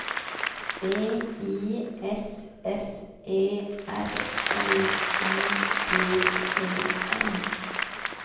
V I S S E R L I G E N